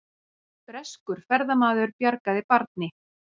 Breskur ferðamaður bjargaði barni